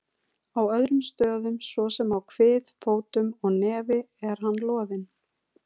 Á öðrum stöðum, svo sem á kvið, fótum og nefi er hann loðinn.